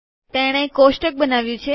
તેણે કોષ્ટક બનાવ્યું છે